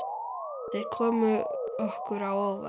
Þeir komu okkur á óvart.